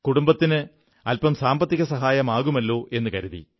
കുടുംബത്തിന് അൽപം സാമ്പത്തിക സഹായമാകുമല്ലോ എന്നു കരുതി